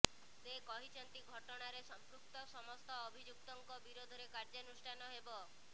ସେ କହିଛନ୍ତି ଘଟଣାରେ ସମ୍ପୃକ୍ତ ସମସ୍ତ ଅଭିଯୁକ୍ତଙ୍କ ବିରୋଧରେ କାର୍ଯ୍ୟାନୁଷ୍ଠାନ ହେବ